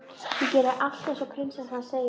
Ég geri allt eins og prinsessan segir.